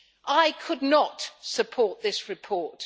I could not support this report.